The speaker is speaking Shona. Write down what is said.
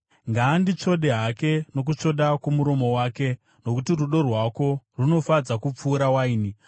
Ngaanditsvode hake nokutsvoda kwomuromo wake. Nokuti rudo rwako runofadza kupfuura waini.